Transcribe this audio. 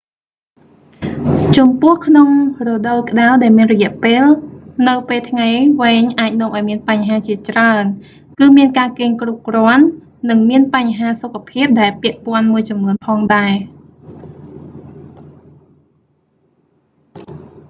ចំពោះក្នុងរដូវក្តៅដែលមានរយៈពេលនៅពេលថ្ងៃវែងអាចនាំឱ្យមានបញ្ហាជាច្រើន គឺមានការគេងគ្រប់គ្រាន់ និងមានបញ្ហាសុខភាពដែលពាក់ព័ន្ធមួយចំនួនផងដែរ